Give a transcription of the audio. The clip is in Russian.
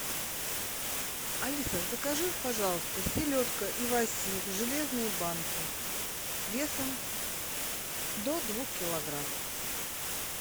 алиса закажи пожалуйста селедка иваси в железной банке весом до двух килограмм